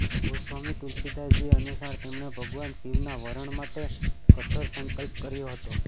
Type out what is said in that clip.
ગોસ્વામી તુલસીદાસજી અનુસાર તેમણે ભગવાન શિવના વરણ માટે કઠોર સંકલ્પ કર્યો હતો